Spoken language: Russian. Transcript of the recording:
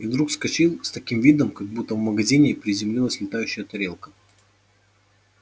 и вдруг вскочил с таким видом как будто в магазине приземлилась летающая тарелка